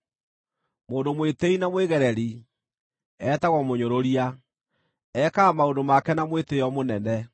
Mũndũ mwĩtĩĩi na mwĩgereri, etagwo “Mũnyũrũria”; ekaga maũndũ make na mwĩtĩĩo mũnene.